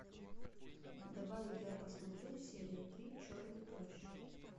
давай я посмотрю серия три черный плащ